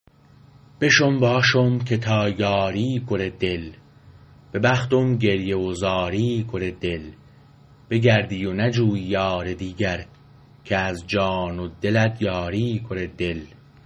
بشم واشم که تا یاری کره دل به بختم گریه و زاری کره دل بگردی و نجویی یار دیگر که از جان و دلت یاری کره دل